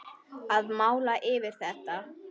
Að mála yfir þetta.